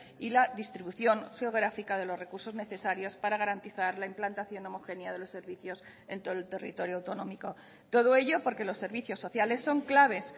y la distribución geográfica de los recursos necesarios para garantizar la implantación homogénea de los servicios en todo el territorio autonómico todo ello porque los servicios sociales son claves